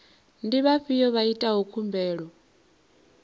ndi vhafhiyo vha itaho khumbelo